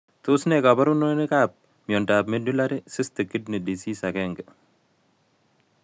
Tos ne kaborunoikap miondop Medullary cystic kidney disease 1?